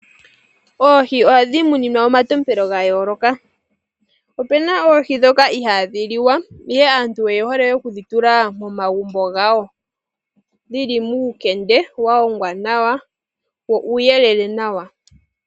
Oohi ohadhi muninwa omatompelo ga yooloka. Opena oohi ndhoka ihaadhi liwa ihe aantu oye hole okudhi tula momagumbo gawo dhili muukende wa hongwa nawa, wo uuyelele nawa.